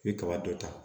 I bɛ kaba dɔ ta